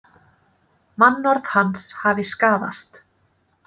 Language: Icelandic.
Mannorð hans hafi skaðast